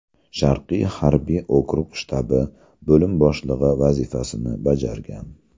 Sharqiy harbiy okrug shtabi bo‘lim boshlig‘i vazifasini bajargan.